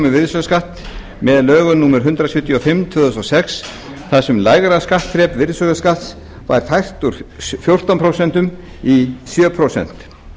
virðisaukaskatt með lögum númer hundrað sjötíu og fimm tvö þúsund og sex þar sem lægra skattþrep virðisaukaskatts var fært úr fjórtán prósent í sjö prósent